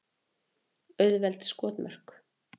Auðveld skotmörk.